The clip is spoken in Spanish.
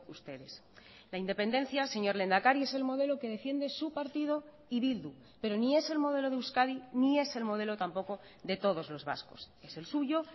ustedes la independencia señor lehendakari es el modelo que defiende su partido y bildu pero ni es el modelo de euskadi ni es el modelo tampoco de todos los vascos es el suyo